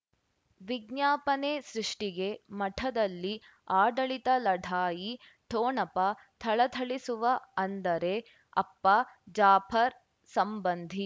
ವಿಜ್ಞಾಪನೆ ಸೃಷ್ಟಿಗೆ ಮಠದಲ್ಲಿ ಆಡಳಿತ ಲಢಾಯಿ ಠೊಣಪ ಥಳಥಳಿಸುವ ಅಂದರೆ ಅಪ್ಪ ಜಾಫರ್ ಸಂಬಂಧಿ